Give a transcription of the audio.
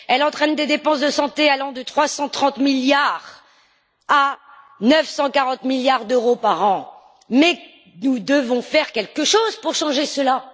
Elle entraîne des dépenses de santé allant de 330 à 940 milliards d'euros par an. Mais nous devons faire quelque chose pour changer cela.